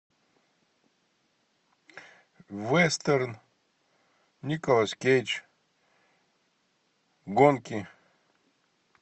вестерн николас кейдж гонки